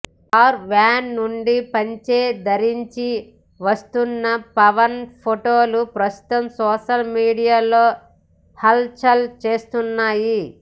car van నుండి పంచె ధరించి వస్తున్న పవన్ ఫొటోలు ప్రస్తుతం సోషల్ మీడియాలో హల్ చల్ చేస్తున్నాయి